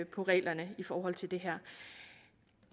på reglerne i forhold til det her